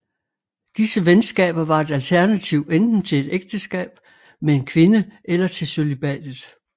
Disse venskaber var et alternativ enten til et ægteskab med en kvinde eller til cølibatet